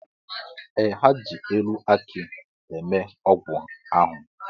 Ee, ha ji elu akị eme ọgwụ ahụ.